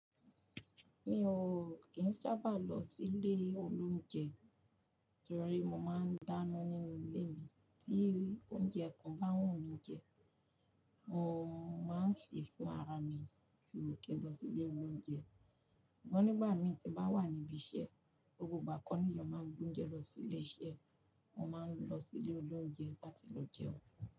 Mi ò kì n sábà lọ silé olóúnjẹ torí mo máa ń dáná nínú ilé mi. Tí oúnjẹ kan bá n wù mí n jẹ, mo máa ń sè é fún ara mi. Kì n lọ silé olóúnjẹ. Ṣùgbọ́n nígbà mii tí n bá wà níbi iṣẹ́, gbogbo ìgbà kọ́ niyàn máa ń gboúnjẹ lọ silé iṣẹ́, mo máa ń lọ silé olóúnjẹ láti lọ jẹun.